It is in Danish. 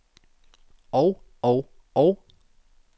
og og og